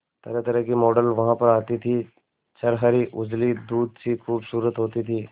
तरहतरह की मॉडल वहां पर आती थी छरहरी उजली दूध सी खूबसूरत होती थी